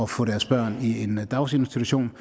få deres børn i en daginstitution